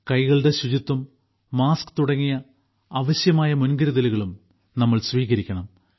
കൈകളുടെ ശുചിത്വം മാസ്ക് തുടങ്ങിയ അവശ്യമായ മുൻകരുതലുകളും നമ്മൾ സ്വീകരിക്കണം